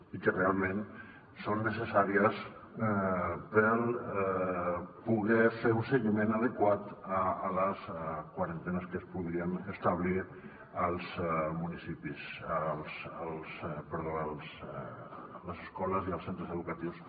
i que realment són necessàries per poder fer un seguiment adequat de les quarantenes que es podrien establir a les escoles i als centres educatius